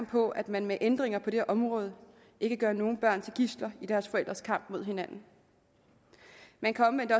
på at man med ændringer på det her område ikke gør nogen børn til gidsler i deres forældres kamp mod hinanden man kan omvendt